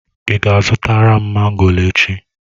Ị ga-azụtara m mango echi?